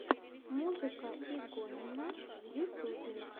музыка игонина в ютюбе